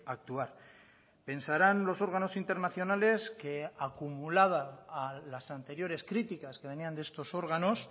actuar pensarán los órganos internacionales que acumulada a las anteriores críticas que venían de estos órganos